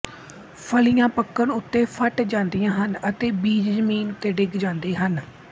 ਫਲੀਆਂ ਪਕਣ ਉੱਤੇ ਫਟ ਜਾਂਦੀਆਂ ਹਨ ਅਤੇ ਬੀਜ ਜ਼ਮੀਨ ਉੱਤੇ ਡਿੱਗ ਜਾਂਦੇ ਹਨ